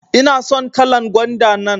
ina son kalan gwanda nan.